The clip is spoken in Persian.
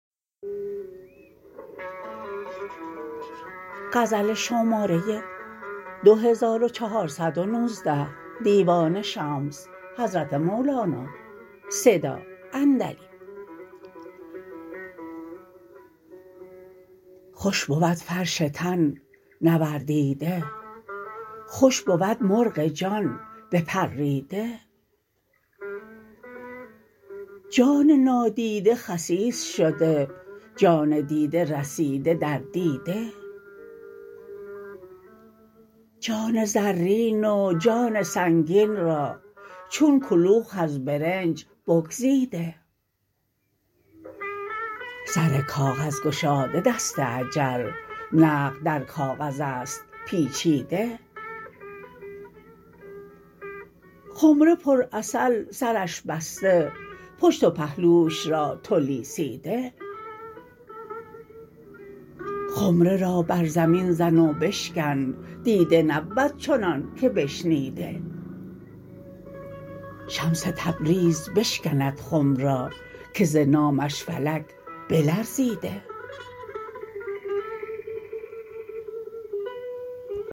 خوش بود فرش تن نور دیده خوش بود مرغ جان بپریده جان نادیده خسیس شده جان دیده رسیده در دیده جان زرین و جان سنگین را چون کلوخ از برنج بگزیده سر کاغذ گشاده دست اجل نقد در کاغذ است پیچیده خمره پرعسل سرش بسته پشت و پهلوش را تو لیسیده خمره را بر زمین زن و بشکن دیده نبود چنانک بشنیده شمس تبریز بشکند خم را که ز نامش فلک بلرزیده